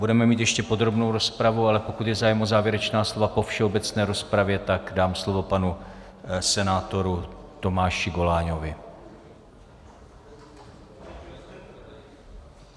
Budeme mít ještě podrobnou rozpravu, ale pokud je zájem o závěrečná slova po všeobecné rozpravě, tak dám slovo panu senátoru Tomáši Goláňovi.